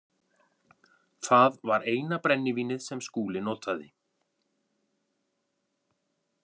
Það var eina brennivínið sem Skúli notaði.